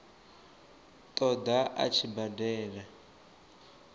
ṱo ḓa a tshi badela